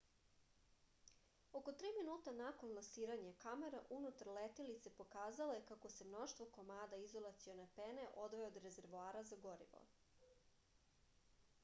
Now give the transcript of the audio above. oko 3 minuta nakon lansiranja kamera unutar letilice pokazala je kako se mnoštvo komada izolacione pene odvaja od rezervoara za gorivo